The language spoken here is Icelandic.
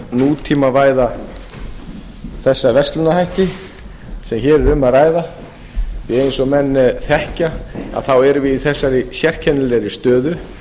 nútímavæða þessa verslunarhætti sem hér er um að ræða því eins og menn þekkja erum við í þessari sérkennilegu stöðu